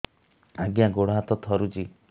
ଆଜ୍ଞା ଗୋଡ଼ ହାତ ଥରୁଛି